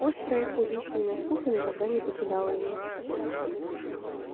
острая убийственная скука никогда не покидала её